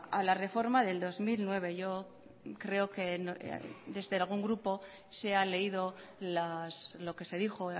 a la reforma del dos mil nueve yo creo que desde algún grupo se ha leído lo que se dijo